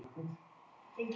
Ferlega ertu stressaður!